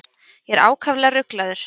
Ég var ákaflega ruglaður.